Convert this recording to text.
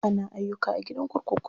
Ana ayyuka a gidan kurkuku.